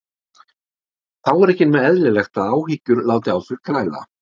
Þá er ekki nema eðlilegt að áhyggjur láti á sér kræla.